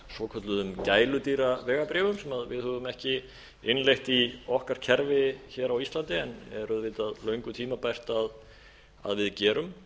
svokölluðum gæludýravegabréfum sem við höfum ekki innleitt í okkar kerfi hér á íslandi en er auðvitað löngu tímabært að við gerum